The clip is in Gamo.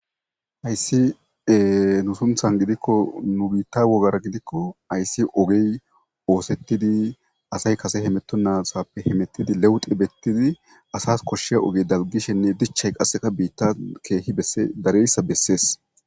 ayssi nu sunthan gidikko nu biitta wogara gidikko ayssi ogey oosettidi asay kase hemetto nasappe hemettidi leweti bettidi asas koshshe ogey dalgishenne dichay qasseka biitta keehi edareyssa bessees